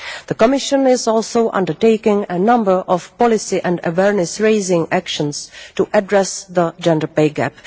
The Commission is also undertaking a number of policy and awareness raising actions to address the gender pay gap.